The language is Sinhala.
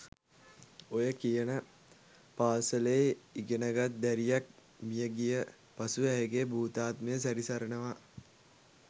ඔය කියන පාසලේ ඉගෙනගත් දැරියක් මිය ගිය පසු ඇයගේ භූතාත්මය සැරිසරනවා